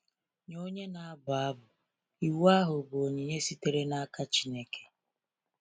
Nye onye na-abụ abụ, iwu ahụ bụ onyinye sitere n’aka Chineke.